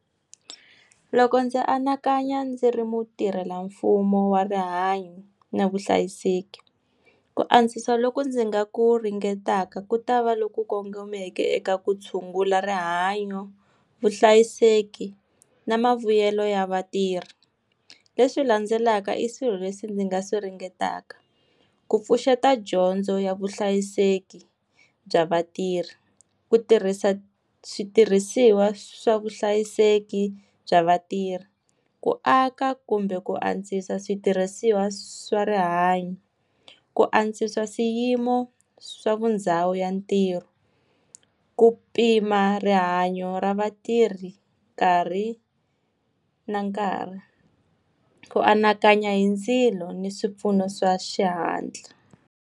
Loko ndzi anakanya ndzi ri mutirhelamfumo wa rihanyo na vuhlayiseki. Ku antswisa loko ndzi nga ku ringetaka ku ta va loku kongomeke eka ku tshungula rihanyo, vuhlayiseki, na mavuyelo ya vatirhi. Leswi landzelaka i swilo leswi ndzi nga swi ringetaka. Ku pfuxeta dyondzo ya vuhlayiseki bya vatirhi, ku tirhisa switirhisiwa swa vuhlayiseki bya vatirhi, ku aka kumbe ku antswisa switirhisiwa swa rihanyo, ku antswisa swiyimo swa vona ndhawu ya ntirho, ku pima rihanyo ra vatirhi nkarhi na nkarhi, ku anakanya hi ndzilo ni swipfuno swa xihatla.